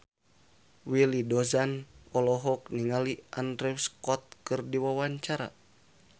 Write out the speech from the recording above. Willy Dozan olohok ningali Andrew Scott keur diwawancara